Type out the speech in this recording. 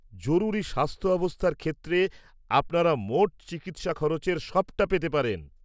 -জরুরী স্বাস্থ্য অবস্থার ক্ষেত্রে আপনারা মোট চিকিৎসা খরচের সবটা পেতে পারেন।